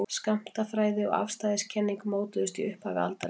skammtafræði og afstæðiskenning mótuðust í upphafi aldarinnar